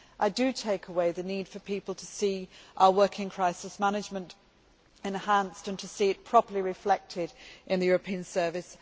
I take away with me the need for people to see our working crisis management enhanced and to see it properly reflected in the European service.